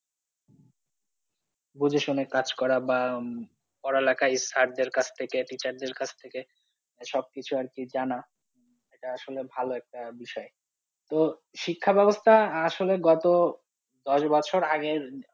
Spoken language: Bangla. বুঝে শুনে কাজ করা বা পড়ালেখা sir দের কাছ থেকে teacher দের কাছ থেকে সবকিছু আর কি জানা এটা আসলে ভালো একটা বিষয় তো শিক্ষা ব্যবস্থা আসলে গত দশ বছর আগের